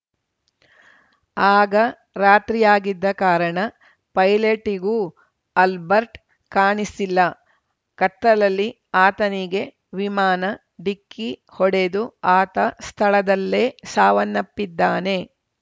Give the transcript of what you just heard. ಆಗ ರಾತ್ರಿಯಾಗಿದ್ದ ಕಾರಣ ಪೈಲಟ್‌ಗೂ ಅಲ್ಬರ್ಟ್ ಕಾಣಿಸಿಲ್ಲ ಕತ್ತಲ್ಲಲಿ ಆತನಿಗೆ ವಿಮಾನ ಡಿಕ್ಕಿ ಹೊಡೆದು ಆತ ಸ್ಥಳದಲ್ಲೇ ಸಾವನ್ನಪ್ಪಿದ್ದಾನೆ